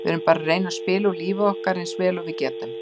Við erum bara að reyna að spila úr lífi okkar eins vel og við getum.